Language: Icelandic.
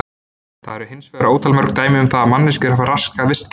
Það eru hins vegar ótal mörg dæmi um það að manneskjur hafi raskað vistkerfum.